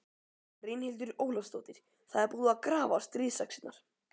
Brynhildur Ólafsdóttir: Það er búið að grafa stríðsaxirnar?